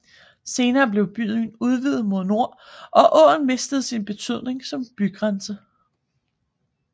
Senere blev byen udvidet mod nord og åen mistede sin betydning som bygrænse